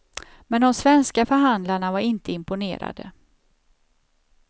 Men de svenska förhandlarna var inte imponerade.